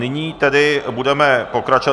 Nyní tedy budeme pokračovat.